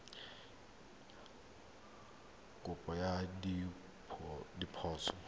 kopo ya go baakanya diphoso